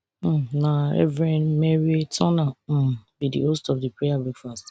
um na reverend merrie turner um be di host of di prayer breakfast